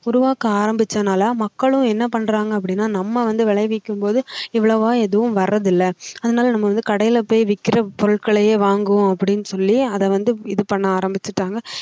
உருவாக்க ஆரம்பிச்சதனால மக்களும் என்ன பண்றாங்க அப்படின்னா நம்ம வந்து விளைவிக்கும் போது இவ்வளவா எதுவும் வரதில்ல அதனால நம்ம வந்து கடையில போய் விக்கிற பொருட்களையே வாங்குவோம் அப்படின்னு சொல்லி அதை வந்து இது பண்ண ஆரம்பிச்சிட்டாங்க